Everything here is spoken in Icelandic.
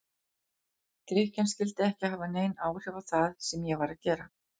Drykkjan skyldi ekki hafa nein áhrif á það sem ég var að gera.